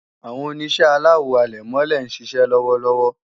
Àwọn Oníṣẹ́ aláwo àlẹ̀mọ́lẹ̀ ń ṣiṣẹ́ lọ́wọ́lọ́wọ́